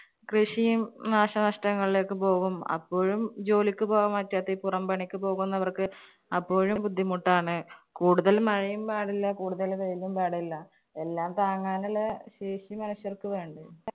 കൃഷിയും നാശനഷ്ടങ്ങളിലേക്ക് പോകും. അപ്പോഴും ജോലിക്ക് പോകാൻ പറ്റാത്ത ഈ പുറം പണിക്ക് പോകുന്നവർക്ക് അപ്പോഴും ബുദ്ധിമുട്ടാണ്. കൂടുതൽ മഴയും പാടില്ല, കൂടുതല് വെയിലും പാടില്ല. എല്ലാം താങ്ങാനുള്ള ശേഷി മനുഷ്യർക്ക് വേണ്ടേ.